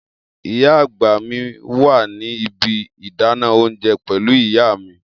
Iya agba mi wa ni ibi idana ounjẹ pẹlu iya mi.